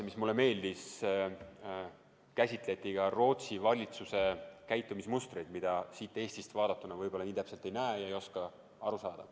Aga mulle meeldis, et seal seriaalis käsitleti ka Rootsi valitsuse käitumismustreid, mida siit Eestist vaadatuna nii täpselt ei näe ja ei oska aru saada.